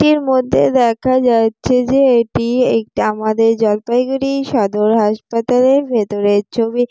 টির মধ্যে দেখা যাচ্ছে যে এটি একটা আমাদের জলপাইগুড়ি সদর হাসপাতালের ভেতরের ছবি।